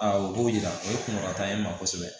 o b'o yira o ye kunkɔrɔta ye ma kosɛbɛ